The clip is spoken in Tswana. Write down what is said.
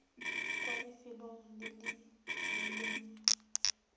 kwa lefelong le le rileng